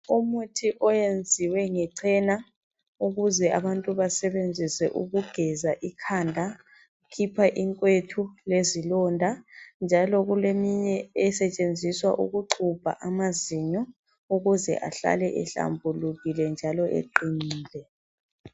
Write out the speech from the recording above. Umuthi oyenziwe ngechena ukuze abantu basebenzise ukugeza ikhanda ukhipha inkwethu lezilonda njalo kuleminye esetshenziswa ukuxubha amazinyo ukuze ahlale ehlambulukile njalo eqinile.